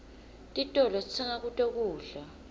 titolo sitsenga kuto kudla